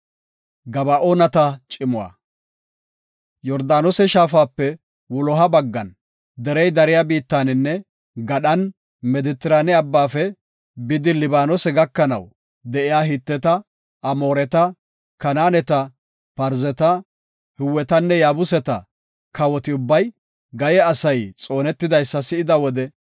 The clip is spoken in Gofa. Yordaanose shaafape wuloha baggan derey dariya biittaninne gadhan Medetrane abbaafe bidi Libaanose gakanaw de7iya Hiteta, Amooreta, Kanaaneta, Parzeta, Hiwetanne Yaabuseta kawoti ubbay, Gaye asay xoonetidaysa si7ida wode,